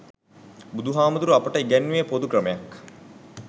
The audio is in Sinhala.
බුදුහාමුදුරුවෝ අපට ඉගැන්නුවෙ පොදු ක්‍රමයක්.